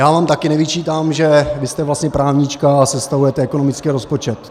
Já vám taky nevyčítám, že vy jste vlastně právnička a sestavujete ekonomický rozpočet.